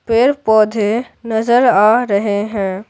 पेड़-पौधे नज़र आ रहे हैं।